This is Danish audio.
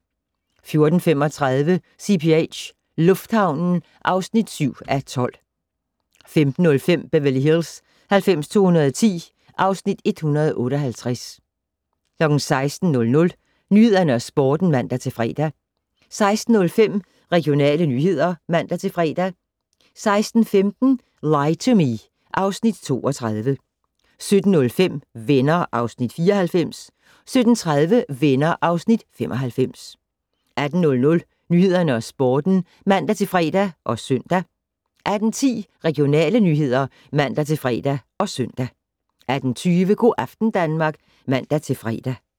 14:35: CPH - lufthavnen (7:12) 15:05: Beverly Hills 90210 (Afs. 158) 16:00: Nyhederne og Sporten (man-fre) 16:05: Regionale nyheder (man-fre) 16:15: Lie to Me (Afs. 32) 17:05: Venner (Afs. 94) 17:30: Venner (Afs. 95) 18:00: Nyhederne og Sporten (man-fre og søn) 18:10: Regionale nyheder (man-fre og søn) 18:20: Go' aften Danmark (man-fre)